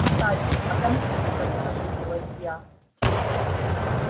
кстати о конфликтах оживилась я